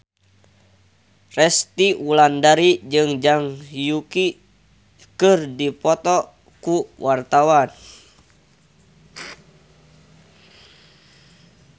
Resty Wulandari jeung Zhang Yuqi keur dipoto ku wartawan